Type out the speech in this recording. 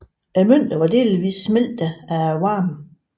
Mønterne var delvis smeltet af varmen